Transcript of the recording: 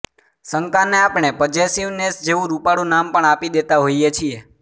શંકાને આપણે પઝેસિવનેસ જેવું રૂપાળું નામ પણ આપી દેતા હોઇએ છીએ